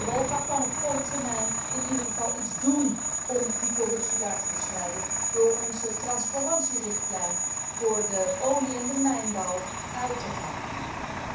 Europa kan op korte termijn in ieder geval iets doen om die corruptie daar te bestrijden door onze transparantierichtlijn voor de olie en de mijnbouw uit te voeren.